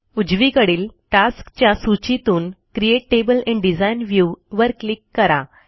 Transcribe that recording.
उजवीकडील टास्क्स च्या सूचीतून create table in design view वर क्लिक करा